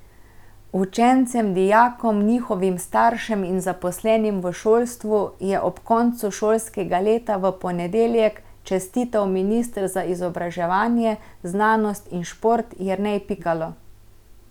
Učencem, dijakom, njihovim staršem in zaposlenim v šolstvu je ob koncu šolskega leta v ponedeljek čestital minister za izobraževanje, znanost in šport Jernej Pikalo.